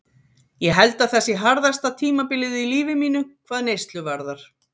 Ég held að það sé harðasta tímabilið í lífi mínu, hvað neyslu varðar.